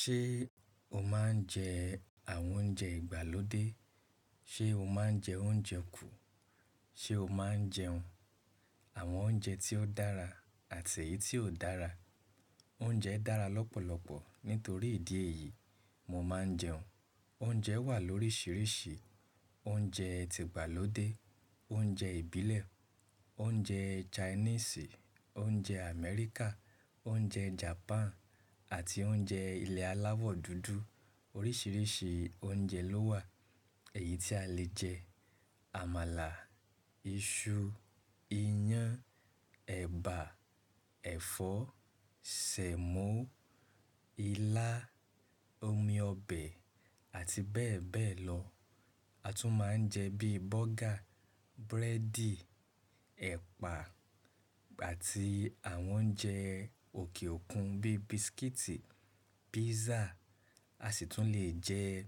Ṣé o máa ń jẹ àwọn oúnjẹ ìgbàlódé? Ṣé o máa ń jẹ oúnjẹ kù? Ṣé o máa ń jẹun? Àwọn oúnjẹ tí ó dára àti èyí tí ò dára. Oúnjẹ dára lọ́pọ̀lọpọ̀. Nítorí ìdí èyí, mo máa ń jẹun. Oúnjẹ wà lóríṣiríṣi. Oúnjẹ ti ìgbàlódé, oúnjẹ ìbílẹ̀, oúnjẹ Chinese, oúnjẹ Amẹ́ríkà, oúnjẹ Japan àti oúnjẹ ilẹ̀ alávọ̀ dúdú. Oríṣiríṣi oúnjẹ ló wà èyí tí a lè jẹ. Àmàlà, iṣu, iyán, ẹ̀bà, ẹ̀fọ́, sẹ̀mọ́, ilá, omi ọbẹ̀ àti bẹ́ẹ̀ bẹ́ẹ̀ lọ. A tún máa ń jẹ bíi burger, búrẹ́dì, ẹ̀pà àti àwọn oúnjẹ òkè òkun bíi bisikíìtì, písà. A sì tún lè jẹ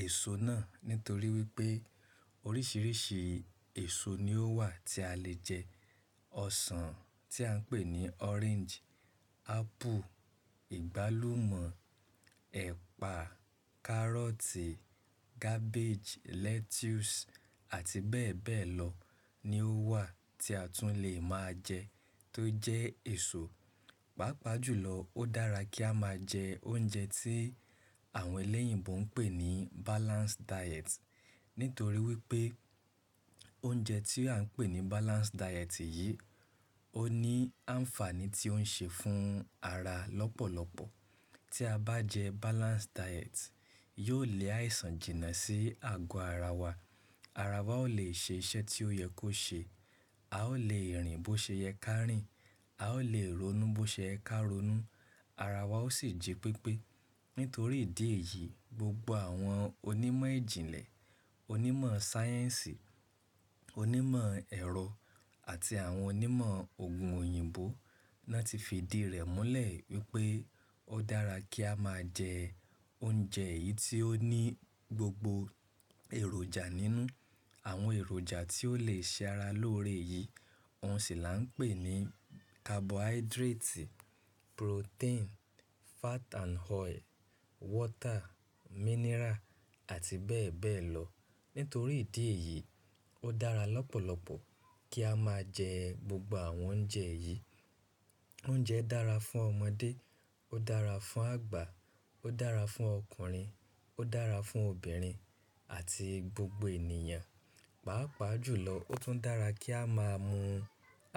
èso náà nítorí wípé oríṣiríṣi èso ni ó wà tí a lè jẹ. Ọsàn tí à ń pè ní orange, apple, ìgbálúmọ̀, ẹ̀pà, carrot, cabbage, lettuce àti bẹ́ẹ̀ bẹ́ẹ̀ lọ ni ó wà tí a tún lè máa jẹ tó jẹ́ èso. Pàápàá jùlọ ó dára kí a máa jẹ oúnjẹ tí àwọn elẹ́yìnbo ń pè ní balanced diet. Nítorí wípé oúnjẹ tí à ń pè ní balanced diet yìí, ó ní àǹfààní tí ó ń ṣe fún ara lọ́pọ̀lọpọ̀. Tí a bá jẹ balanced diet, yóò lé àìsàn jìnnà sí àgọ́ ara wa. Ara wa ó lè ṣe iṣẹ́ tí ó yẹ kó ṣe. A ó lè rìn bó ṣe yẹ ká rìn, a ó lè ronú bó ṣe ẹ ká ronú. Ara wa ó sì jí pípé. Nítorí ìdí èyí, gbogbo àwọn onímọ̀ ìjìnlẹ̀, onímọ̀ sáyẹ́ǹsì, onímọ̀ ẹ̀rọ àti àwọn onímọ̀ òògùn òyìnbó náà ti fi ìdí rẹ̀ múlẹ̀ wípé ó dára kí a máa jẹ oúnjẹ yìí tí ó ní gbogbo èròjà nínú. Àwọn èròjà tí ó lè ṣe ara lóore yìí, òun sì là ń pè ní carbohydrate, protein, fat and oil, water, mineral àti bẹ́ẹ̀ bẹ́ẹ̀ lọ. Nítorí ìdí èyí, ó dára lọ́pọ̀lọpọ̀ kí a máa jẹ gbogbo àwọn oúnjẹ yìí. Oúnjẹ dára fún ọmọdé, ó dára fún àgbà, ó dára fún ọkùnrin, ó dára fún obìnrin àti gbogbo ènìyàn. Pàápàá jùlọ ó tún dára kí a máa mu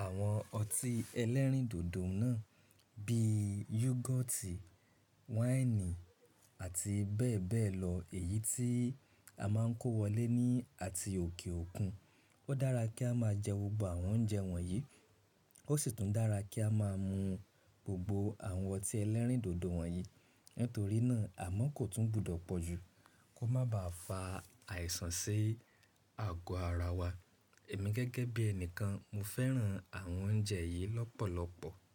àwọn ọtí ẹlẹ́rìndòdò náà bíi yugoti, wáìnì àti bẹ́ẹ̀ bẹ́ẹ̀ lọ èyí tí a máa ń kó wọlé ní àti òkè òkun. Ó dára kí a máa jẹ gbogbo àwọn oúnjẹ wọ̀nyí. Ó sì tún dára kí a máa mu gbogbo àwọn ọtí ẹlẹ́rìndòdò wọ̀nyí. Nítorí náà, àmo kò tún gbùdọ̀ pọ̀ jù kó má ba à fa àìsàn sí àgọ́ ara wa. Èmi gẹ́gẹ́ bí ẹnìkan, mo fẹ́ràn àwọn oúnjẹ yìí lọ́pọ̀lọpọ̀